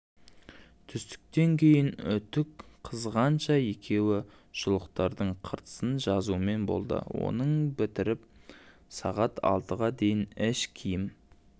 түстіктен кейін үтік қызғанша екеуі шұлықтардың қыртысын жазумен болды оны бітіріп сағат алтыға дейін іш киім